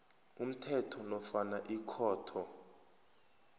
umthetho nofana ikhotho